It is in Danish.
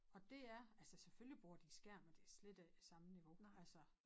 Og dét er altså selvfølgelig bruger de skærm men det slet ikke det samme niveau altså